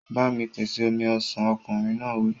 Ba mi pèsè omi ọsàn! Ọkùnrin náà wí.